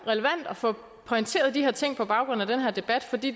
relevant at få pointeret de her ting på baggrund af den her debat fordi